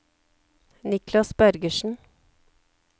Niklas Bergersen